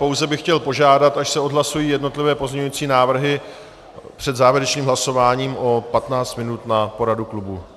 Pouze bych chtěl požádat, až se odhlasují jednotlivé pozměňující návrhy, před závěrečným hlasováním o 15 minut na poradu klubu.